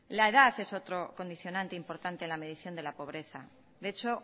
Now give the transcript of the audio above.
la edad es otro condicionante importante en la medición de la pobreza de hecho